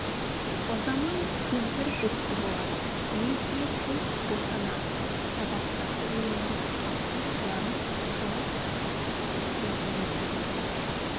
ұзамай кемпір жүкті болады мезгілі толып босанады садақ тартып үйренеді тартқан садағын тоғыз қабат кетпеннен өткізеді